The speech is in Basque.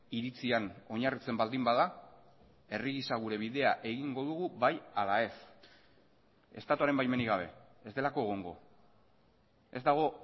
iritzian oinarritzen baldin bada herri gisa gure bidea egingo dugu bai ala ez estatuaren baimenik gabe ez delako egongo ez dago